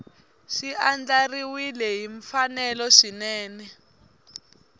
swi andlariwile hi mfanelo swinene